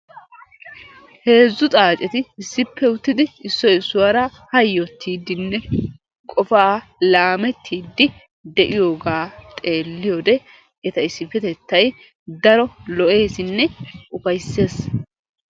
Heezzu xaaceti issippe uttidi issoy issuwaara hayyottiiddinne qofaa laamettiiddi de'iyogaa xeelliyode eta issippetettay daro lo'eesinne ufayissees.